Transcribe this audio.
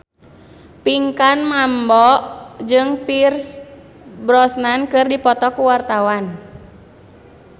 Pinkan Mambo jeung Pierce Brosnan keur dipoto ku wartawan